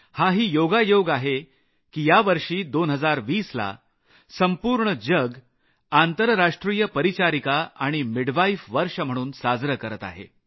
हाही योगायोग आहे की यावर्षी 2020 ला संपूर्ण जग आंतरराष्ट्रीय परिचारिका आणि दाई वर्ष म्हणून साजरं करत आहे